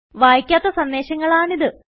വായിക്കാത്ത സന്ദേശങ്ങളാണിത്